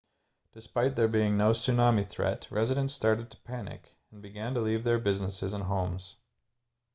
despite there being no tsunami threat residents started to panic and began to leave their businesses and homes